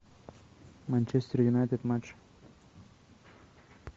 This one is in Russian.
манчестер юнайтед матч